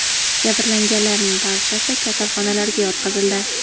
Jabrlanganlarning barchasi kasalxonalarga yotqizildi.